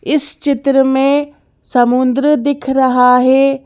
इस चित्र में समुंद्र दिख रहा है।